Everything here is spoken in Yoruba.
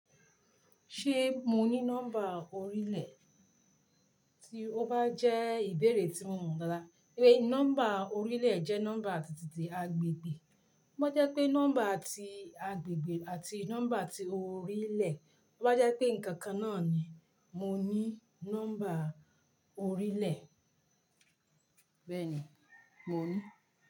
Ṣé mo ní nọ́mbà orílẹ̀? Tí ó bá jẹ́ ìbéèrè tí mo mọ̀ dáadáa. Níbo nọ́mbà orílẹ̀ jẹ́ nọ́mbà ti tìtì agbègbè. To ba jẹ́ pé nọ́mbà ti agbègbè àti nọ́mbà ti orílẹ̀, bó bá jẹ́ pé ǹkan kan náà ni mo ní nọ́mbà orílẹ̀. Bẹ́ẹ̀ni, mo ní.